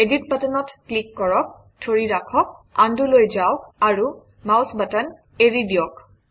edit বাটনত click কৰক ধৰি ৰাখক Undo লৈ যাওক আৰু মাউচ বাটন এৰি দিয়ক